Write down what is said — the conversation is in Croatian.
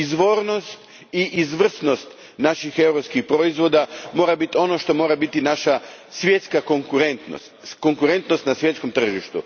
Izvornost i izvrsnost naših europskih proizvoda mora biti ono što mora biti naša svjetska konkurentnost, konkurentnost na svjetskom tržištu.